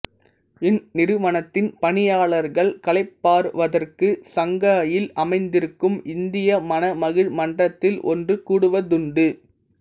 இந்நிறுவனத்தின் பணியாளர்கள் களைப்பாறுவதற்கு சங்காயில் அமந்திருக்கும் இந்திய மன மகிழ் மன்றத்தில் ஒன்று கூடுவதுண்டு